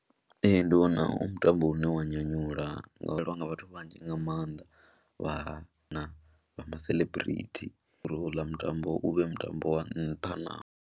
Ee, ndi wana u mutambo une wa nyanyula ngauri u vhonwa nga vhathu vhanzhi nga maanḓa vha na vha maseḽebirithi uri houḽa mutambo u vhe mutambo wa nṱha na.